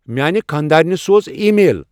میانِہ خاندارنِہ سوز ای میل ۔